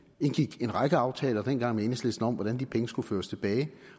indgik en række aftaler dengang med enhedslisten om hvordan de penge skulle føres tilbage